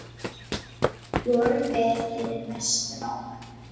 Vorum við hinir mestu mátar.